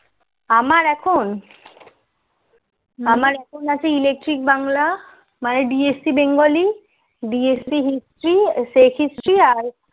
আমার এখন আমার এখন আছে electric Bangla DSC bengaliDSC history history